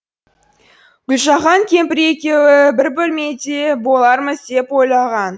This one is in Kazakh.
гүлжахан кемпірі екеуі бір бөлмеде болармыз деп ойлаған